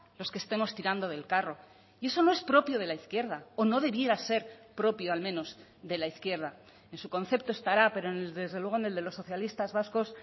los que estemos tirando del carro y eso no es propio de la izquierda o no debiera ser propio al menos de la izquierda en su concepto estará pero desde luego en el de los socialistas vascos